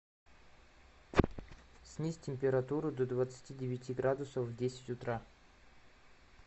снизь температуру до двадцати девяти градусов в десять утра